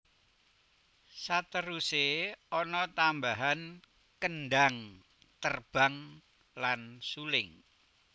Saterusé ana tambahan kendhang terbang lan suling